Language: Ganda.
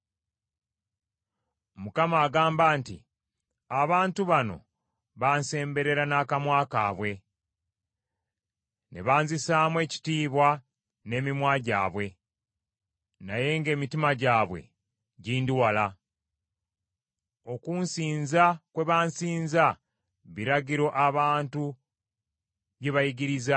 Mukama agamba nti, “Abantu bano bansemberera n’akamwa kaabwe, ne banzisaamu ekitiibwa n’emimwa gyabwe, naye ng’emitima gyabwe gindi wala. Okunsinza kwe bansinza, biragiro abantu bye baayigiriza.